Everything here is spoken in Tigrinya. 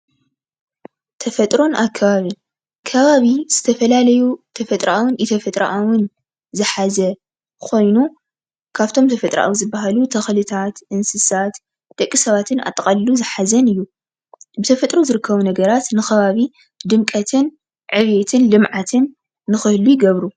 ተፈጥሮን ኣብ ከበቢ፦ ከባቢ ዝተፈላለዩ ተፈጥሮኣውን ኢ-ተፈጥሮኣውን ዝሓዘ ኮይኑ ካብቶም ተፈጥሮኣዊ ዝበሃሉ ተክሊታት፣ እንስሳት፣ ደቂ ሰባትን ኣጠቃሊሉ ዝሓዘን እዩ። ብተፈጥሮ ዝርከቡ ነገራት ንከባቢ ድምቀትን ዕብየት ልምዓት ንክህሉ ይገብሩ ፡፡